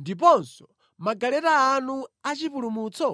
ndiponso magaleta anu achipulumutso?